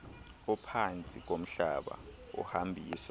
ophantsi komhlaba ohambisa